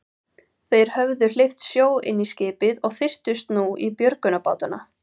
Þeir höfðu hleypt sjó inn í skipið og þyrptust nú í björgunarbátana.